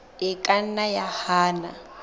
e ka nna ya hana